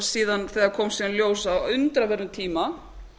síðan þegar kom síðan í ljós á undraverðum tíma